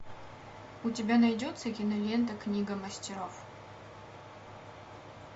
у тебя найдется кинолента книга мастеров